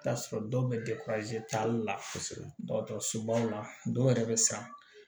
I bi t'a sɔrɔ dɔw bɛ taali la kosɛbɛ dɔgɔtɔrɔsobaw la dɔw yɛrɛ bɛ sa